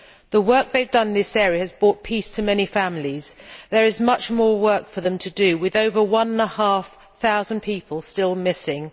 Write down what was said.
The work they have done in this area has brought peace to many families. There is much more work for them to do, with over one and a half thousand people still missing.